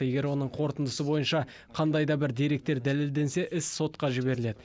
егер оның қорытындысы бойынша қандай да бір деректер дәлелденсе іс сотқа жіберіледі